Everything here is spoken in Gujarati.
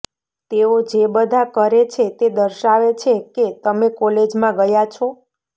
તેઓ જે બધા કરે છે તે દર્શાવે છે કે તમે કોલેજમાં ગયા છો